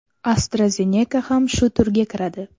AstraZeneca ham shu turga kiradi.